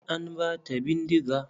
An bata bindiga.